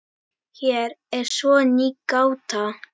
Hér er svo ný gáta.